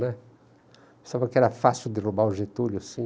Pensava que era fácil derrubar o Getúlio assim.